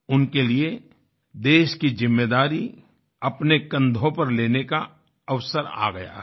उनके लिए देश की ज़िम्मेदारी अपने कन्धों पर लेने का अवसर आ गया है